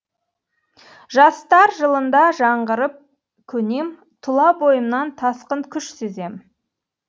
жастар жылында жаңғырып көнем тұла бойымнан тасқын күш сезем